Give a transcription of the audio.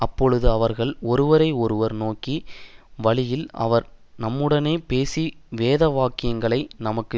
அப்பொழுது அவர்கள் ஒருவரை ஒருவர் நோக்கி வழியிலே அவர் நம்முடனே பேசி வேதவாக்கியங்களை நமக்கு